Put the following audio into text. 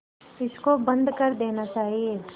इसको बंद कर देना चाहिए